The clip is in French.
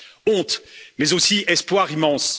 Honte, mais aussi espoir immense.